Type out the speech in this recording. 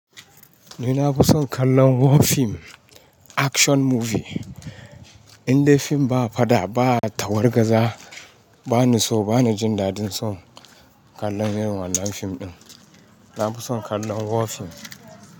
Ni na fi son kallon war fim, action movie. Indai fim ba faɗa, ba tawargaza, ba ni so, ba ni jin daɗin son kallon irin wannan fim ɗin. Na fi son kallon war fim.